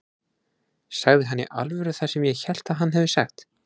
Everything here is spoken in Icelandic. Sagði hann í alvöru það sem ég hélt að hann hefði sagt?